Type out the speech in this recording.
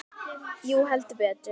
Jú, heldur betur